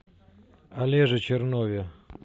олеже чернове